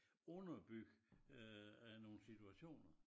Underbygge øh øh nogen situationer